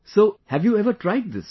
So, have you ever tried this